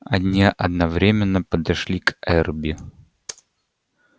они одновременно подошли к эрби